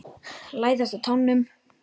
Læðast á tánum.